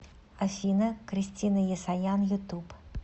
афина кристина есаян ютуб